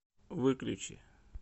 выключи